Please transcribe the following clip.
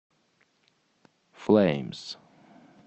флэймс